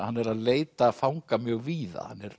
hann er að leita fanga mjög víða hann er